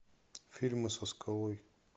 фильмы со скалой